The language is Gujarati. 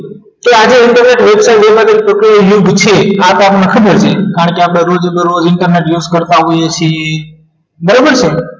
આજે internet website એ પરથી પ્રકરણ નંબર પૂછીએ કારણ કે આ રોજ બરોરોજ internet નો use કરતા હોઈએ છીએ બરોબર છે ને